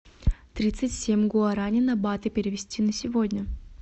тридцать семь гуарани на баты перевести на сегодня